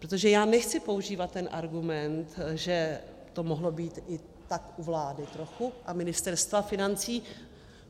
Protože já nechci používat ten argument, že to mohlo být i tak u vlády trochu a Ministerstva financí.